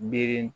Miiri